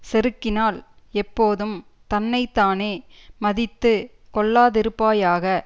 செருக்கினால் எப்போதும் தன்னை தானே மதித்து கொள்ளாதிருப்பாயாக